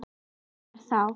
Þetta var þá